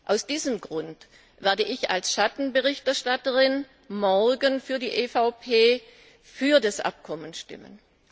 Aus diesem Grund werde ich als Schattenberichterstatterin morgen für die EVP für das Abkommen stimmen.